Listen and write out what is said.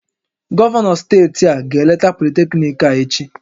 Gọvanọ steeti a ga-eleta politekniiki a echi